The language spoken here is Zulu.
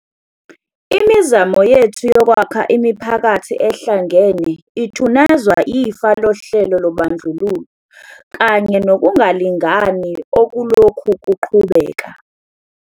Imizamo yethu yokwakha imiphakathi ehlangene ithunazwa ifa lohlelo lobandlululo kanye nokungalingani okulokhu kuqhubeka.